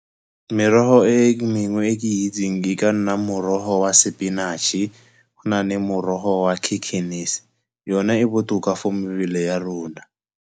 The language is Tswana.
Merogo e mengwe e ke itseng e ka nna morogo wa sepinatšhe, go na le morogo wa . Yona e botoka for mebele ya rona.